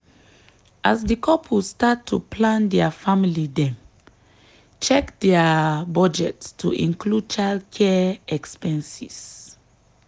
as di couple start to plan dia family dem check dia budget to include childcare expenses.